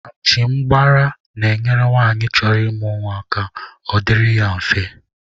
Achịmgbara na-enyere nwanyị chọrọ ịmụ nwa ka ọ dịrị ya mfe.